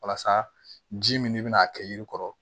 Walasa ji min de bina kɛ yiri kɔrɔ